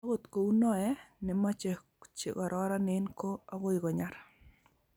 akot kou noe , ne mache che kororonen ko agoi konyar